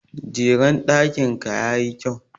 Jeren ɗakin ka ya yi kyau.